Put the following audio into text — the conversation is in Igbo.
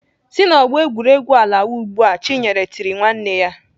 "Si n'ọgbọ egwuregwu a lawa ugbu a!" Chinyere tiri nwanne ya.